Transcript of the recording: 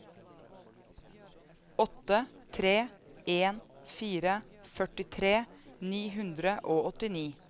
åtte tre en fire førtitre ni hundre og åttini